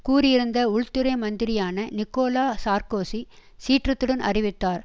கூறியிருந்த உள்துறை மந்திரியான Nicolas Sarkozy சீற்றத்துடன் அறிவித்தார்